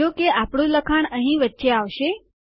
જો કે આપણું લખાણ અહીં વચ્ચે આવશે